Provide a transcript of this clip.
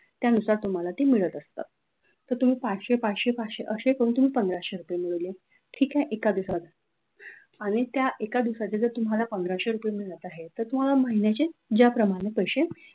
त्यानुसार तुम्हाला ती मिळत असतात ते तुम्ही पाचशे पाचशे पाचशे करून तुम्ही पंधराशे रुपये मिळवले ठीक आहे एका दिवसात आणि त्या एका दिवसाची जर तुम्हाला पंधराशे रुपये मिळत आहे तर तुम्हाला महिन्याचे ज्याप्रमाणे पैसे